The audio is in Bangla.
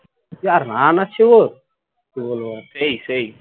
যা run আছে গো কি বলবো সেই সেই